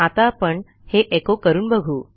आता आपण हे एचो करून बघू